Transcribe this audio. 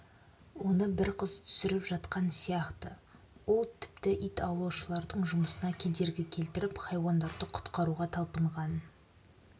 оны бір қыз түсіріп жатқансияқты ол тіпті ит аулаушылардың жұмысына кедергі келтіріп хайуандарды құтқаруға талпынған